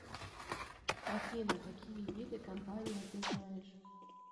афина какие виды компания ты знаешь